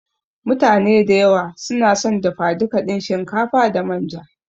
mutane da yawa sunason dafa duka din shinkafa da manja.